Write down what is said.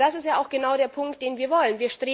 Denn das ist ja genau der Punkt, den wir wollen.